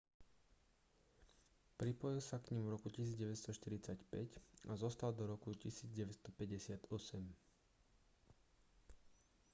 pripojil sa k nim v roku 1945 a zostal do roku 1958